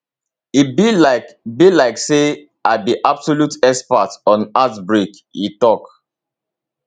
e be like be like say i be absolute expert on heartbreak e tok